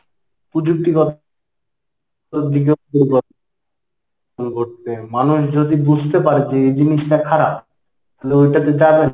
পুযুক্তিগত ঘটবে মানুষ যদি বুঝতে পারে যে এই জিনিসটা খারাপ তাহলে ওইটাতে